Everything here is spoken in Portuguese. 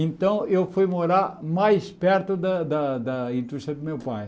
Então, eu fui morar mais perto da da da indústria do meu pai.